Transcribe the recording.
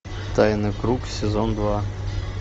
тайный круг сезон два